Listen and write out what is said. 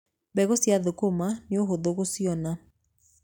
Mbegũ cia thũkũma nĩũhũthũ gũciona.